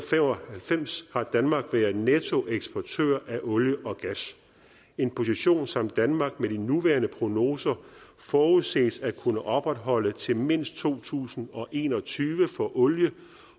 halvfems har danmark været nettoeksportør af olie og gas en position som danmark med de nuværende prognoser forudses at kunne opretholde til mindst to tusind og en og tyve for olie